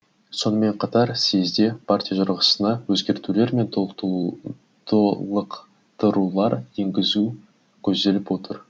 сонымен қатар съезде партия жарғысына өзгертулер мен толықтырулар енгізу көзделіп отыр